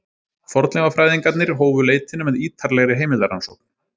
Fornleifafræðingarnir hófu leitina með ýtarlegri heimildarannsókn.